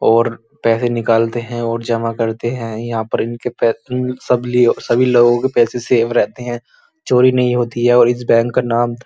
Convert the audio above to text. और पैसे निकालते हैं और जमा करते हैं। यहाँ पर इनके पै उम्म सब लिए सभी लोगों के पैसे सेव रहते हैं। चोरी नहीं होती है और इस बैंक का नाम --